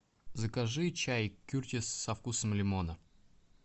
закажи чай кертис со вкусом лимона